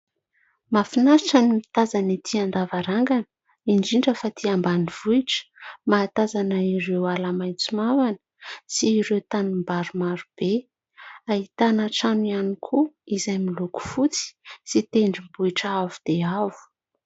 Mahafinaritra ny mitazana ety an-davarangana, indrindra fa aty ambanivohitra ; mahatazana ireo ala maitso mavana, sy ireo tanimbary maro be ; ahitana trano ihany koa, izay miloko fotsy, sy tendrombohitra avo dia avo.